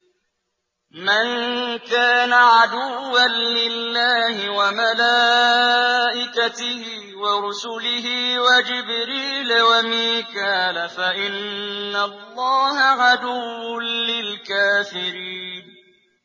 مَن كَانَ عَدُوًّا لِّلَّهِ وَمَلَائِكَتِهِ وَرُسُلِهِ وَجِبْرِيلَ وَمِيكَالَ فَإِنَّ اللَّهَ عَدُوٌّ لِّلْكَافِرِينَ